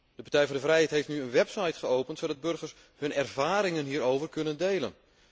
De Partij voor de Vrijheid heeft nu een website geopend waar de burgers hun ervaringen hierover kunnen delen.